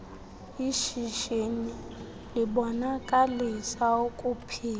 ishishini libonakalisa ukuphila